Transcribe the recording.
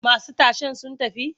Masu tashen sun tafi?